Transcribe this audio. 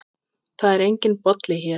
Það er enginn Bolli hér.